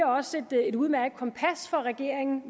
også giver et udmærket kompas for regeringen